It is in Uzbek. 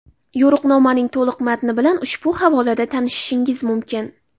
Yo‘riqnomaning to‘liq matni bilan ushbu havolada tanishishingiz mumkin.